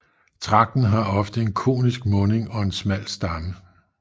Tragten har ofte en konisk munding og en smal stamme